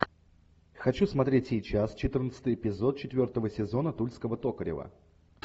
хочу смотреть сейчас четырнадцатый эпизод четвертого сезона тульского токарева